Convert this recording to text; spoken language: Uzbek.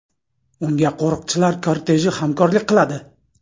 Unga qo‘riqchilar korteji hamkorlik qiladi.